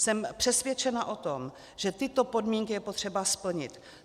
Jsem přesvědčena o tom, že tyto podmínky je potřeba splnit.